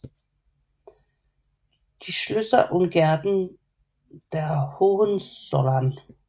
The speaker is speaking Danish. Die Schlösser und Gärten der Hohenzollern